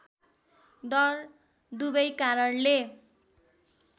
डर दुबै कारणले